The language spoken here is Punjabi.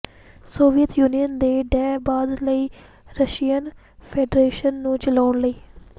ਸੋਵੀਅਤ ਯੂਨੀਅਨ ਦੇ ਢਹਿ ਬਾਅਦ ਲਈ ਰਸ਼ੀਅਨ ਫੈਡਰੇਸ਼ਨ ਨੂੰ ਚਲਾਉਣ ਲਈ